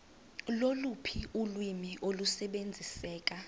loluphi ulwimi olusebenziseka